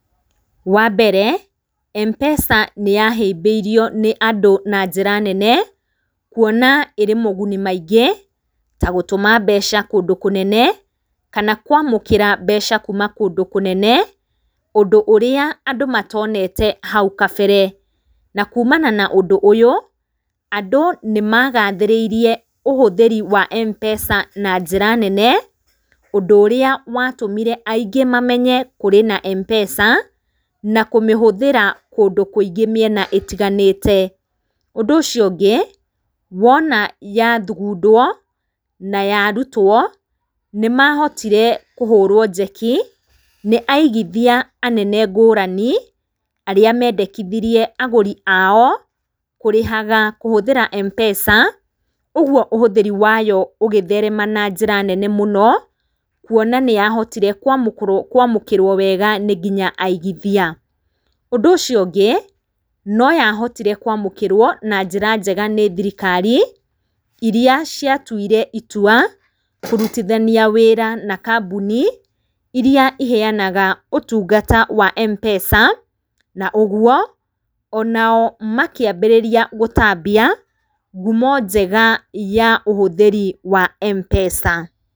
Wambere, Mpesa nĩyahĩmbĩirio nĩ andũ na njĩra nene, kuona ĩrĩ maũguni maingĩ, ta gũtũma mbeca kũndũ kũnene, kana kwamũkĩra mbeca kuma kũndũ kũnene, ũndũ ũrĩa andũ matonete hau gabere, na kumana na ũndũ ũyũ andũ nĩmagathĩrĩirie kũhũthĩra kwa Mpesa na njĩra nene, ũndũ ũrĩa watũmire aingĩ mamenye kũrĩ na Mpesa, na kũmĩhũthĩra kũndũ kũingũ mĩena mĩingĩ. Ũndũ ũcio ũngĩ, wona yathugundwo na yarutwo, nĩmahotire kũhũrwo njeki nĩ aigithia anene ngũrani, arĩa mendekithirie agũri aao kũrĩhaga kũhũthĩra Mpesa, ũguo ũhũthĩri wayo ũgĩtherema na njĩra nene mũno, kuona atĩ nĩyahotire kwamũkĩrwo wega nĩ nginya aigithia. Ũndũ ũcio ũngĩ, noyahotire kwamũkĩrwo wega nĩ thirikari, iria ciatuire itua kũrutithania wĩra na kambuni iria iheanaga ũtungata wa Mpesa, na ũguo, onao makĩambĩrĩria gũtambia ngumo njega ya ũhũthĩri wa mpesa.